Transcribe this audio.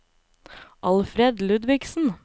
Alfred Ludvigsen